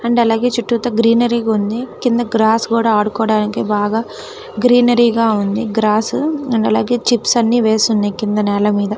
And అలాగే చుట్టూ greenery ఉంది కింద గ్రస్స్ కూడా ఆడుకోడానికి బాగా గ్రీనరీ గ ఉంది గ్రస్స్ అండ్ అలాగే చిప్స్ అన్ని వేసి ఉంది కింద నెల మీద .